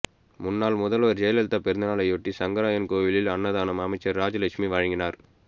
முன்னாள் முதல்வர் ஜெயலலிதா பிறந்தநாளையொட்டி சங்கரன்கோவிலில் அன்னதானம் அமைச்சர் ராஜலட்சுமி வழங்கினார்